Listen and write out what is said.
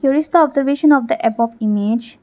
there is the observation of the above image.